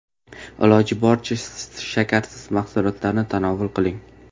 Iloji boricha shakarsiz mahsulotlarni tanovul qiling.